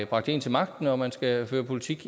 bragt en til magten og at man skal føre politik